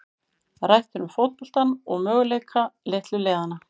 Rætt er um fótboltann og möguleika litlu liðanna.